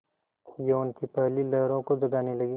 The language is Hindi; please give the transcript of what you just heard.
यौवन की पहली लहरों को जगाने लगी